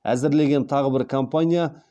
әзірлеген тағы бір компания